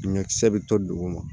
Dingɛkisɛ bɛ to dugu ma